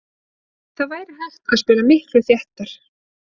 Það væri hægt að spila miklu þéttar.